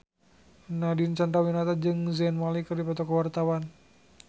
Nadine Chandrawinata jeung Zayn Malik keur dipoto ku wartawan